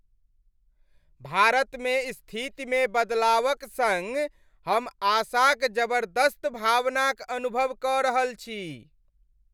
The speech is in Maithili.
भारतमे स्थितिमे बदलावक सङ्ग हम आशाक जबर्दस्त भावनाक अनुभव कऽ रहल छी।